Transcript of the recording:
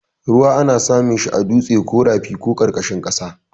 Ruwa ana samun shi a dutse ko rafi ko ƙarƙashin ƙasa.